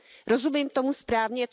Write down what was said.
Rozumím tomu správně?